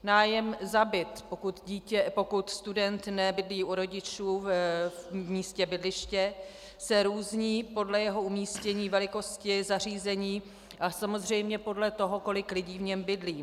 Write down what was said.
Nájem za byt, pokud student nebydlí u rodičů v místě bydliště, se různí podle jeho umístění, velikosti, zařízení a samozřejmě podle toho, kolik lidí v něm bydlí.